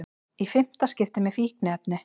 Í fimmta skipti með fíkniefni